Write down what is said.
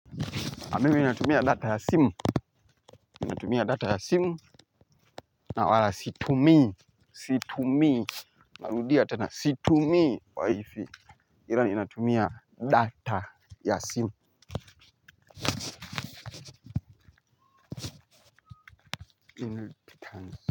A mimi natumia data ya simu ninatumia data ya simu na wala situmii situmii na rudia tena situmii waifi ila ninatumia data ya simu.